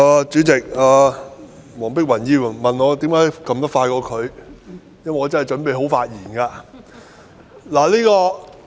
主席，黃碧雲議員問我為甚麼按鈕會按得較她快，因為我真的準備好發言。